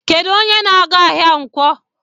Kedụ onye na-aga ahịa nkwo?